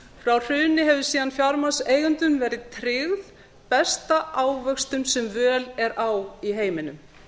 frá hruni hefur síðan fjármagnseigendum verið tryggð besta ávöxtun sem völ er á í heiminum